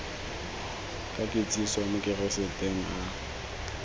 ka kitsiso mo kaseteng a